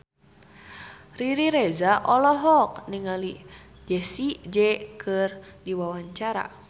Riri Reza olohok ningali Jessie J keur diwawancara